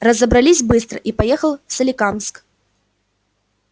разобрались быстро и поехал в соликамск